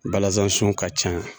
Balazansun ka ca